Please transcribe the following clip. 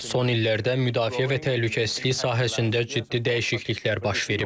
Son illərdə müdafiə və təhlükəsizlik sahəsində ciddi dəyişikliklər baş verib.